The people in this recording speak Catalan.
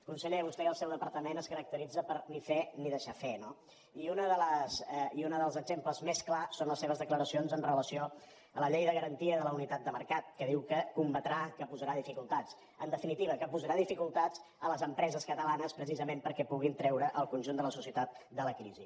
conseller vostè i el seu departament es caracteritzen per ni fer ni deixar fer no i un dels exemples més clars són les seves declaracions amb relació a la llei de garantia de la unitat de mercat que diu que combatrà que hi posarà dificultats en definitiva que posarà dificultats a les empreses catalanes precisament perquè puguin treure el conjunt de la societat de la crisi